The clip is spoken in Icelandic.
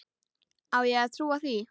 Á ég að trúa því?